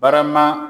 Barama